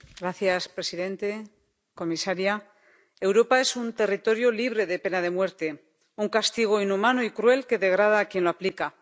Señor presidente, señora comisaria, Europa es un territorio libre de pena de muerte, un castigo inhumano y cruel que degrada a quien lo aplica.